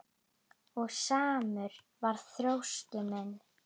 Og samur var þroski minn.